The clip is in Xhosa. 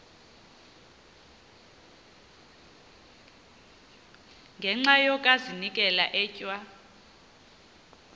ngenxa yokazinikela etywa